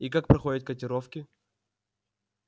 и как проходят котировки